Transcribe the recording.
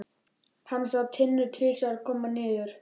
Hann sá Tinnu tvisvar koma niður.